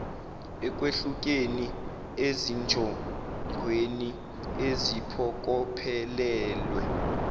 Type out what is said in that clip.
ekwehlukeni ezinjongweni eziphokophelelwe